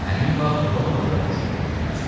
Həmin vaxt Romada da boş oturmadılar.